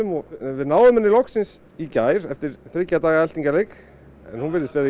við náðum henni loksins í gær eftir þriggja daga eltingarleik hún virðist